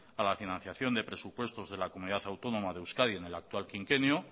a la financiación de presupuestos de la comunidad autónoma de euskadi en el actual quinquenio